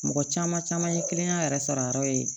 Mɔgɔ caman caman ye kiliyan yɛrɛ sara ye